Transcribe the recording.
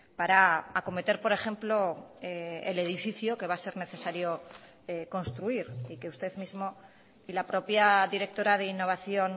para acometer por ejemplo el edificio que va a ser necesario construir y que usted mismo y la propia directora de innovación